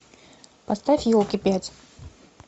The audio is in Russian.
поставь елки пять